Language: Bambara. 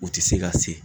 U tɛ se ka se